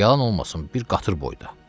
Yalan olmasın bir qatır boyda.